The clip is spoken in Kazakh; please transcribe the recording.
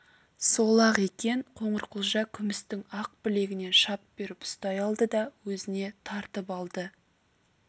сол-ақ екен қоңырқұлжа күмістің ақ білегінен шап беріп ұстай алды да өзіне тартып алды